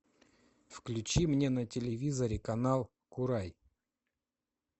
включи мне на телевизоре канал курай